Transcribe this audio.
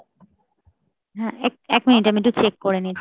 হ্যাঁ এক এক minute আমি একটু cheek করে নি।